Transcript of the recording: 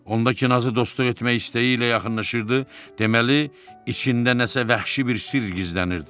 Onda ki nazı dostluq istəyi ilə yaxınlaşırdı, deməli içində nəsə vəhşi bir sirr gizlənirdi.